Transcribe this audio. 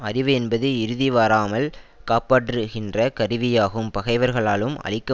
அறிவு என்பது இறுதி வாராமல் காப்பாற்றுகின்ற கருவியாகும் பகைவர்களாலும் அழிக்க